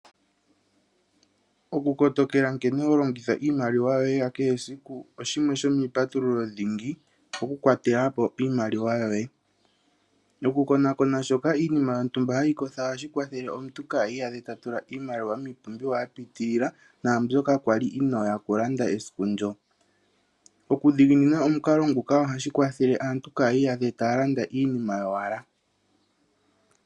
Okukotokela nkene ho longitha iimaliwa yoye ya kehe esiku osho shimwe shomiipatululo dhingi, oku kwatela po iimaliwa yoye. Okukonakona shoka iinima yontumba hayi kotha ohashi kwathele omuntu ka iyadhe ta tula iimaliwa miipumbiwa ya pitilila naa mbyoka kwa li inooya okulanda esiku ndyoka. Okudhiginina omukalo nguka ohashi kwathele aantu kaya iyadhe taya landa iinima yowala.